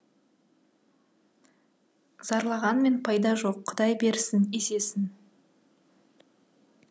зарлағанмен пайда жоқ құдай берсін есесін